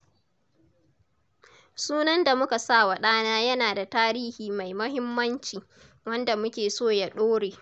Sunan da muka sawa ɗana yana da tarihi mai mahimmanci, wanda muke so ya ɗore.